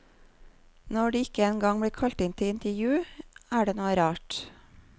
Når de ikke en gang blir kalt inn til intervju, er det noe rart.